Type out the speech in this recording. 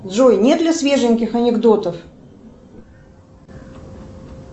джой нет ли свеженьких анекдотов